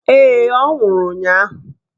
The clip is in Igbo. Ee, ọ nwụrụ ụnyaahụ.